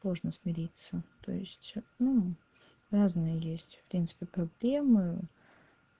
можно смириться то есть ну разные есть в принципе проблемы